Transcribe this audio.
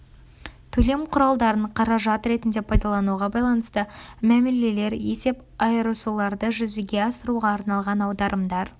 төлем құралдарын қаражат ретінде пайдалануға байланысты мәмілелер есеп айырысуларды жүзеге асыруға арналған аударымдар